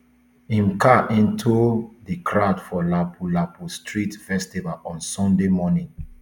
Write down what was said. im car into di crowd for lapu lapu street festival on sunday morning